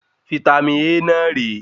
Vítámì A náà re